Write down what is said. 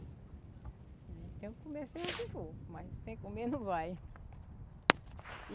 Tenho que comer seja o que for, mas sem comer não vai.